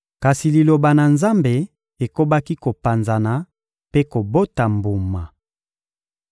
Kasi Liloba na Nzambe ekobaki kopanzana mpe kobota mbuma.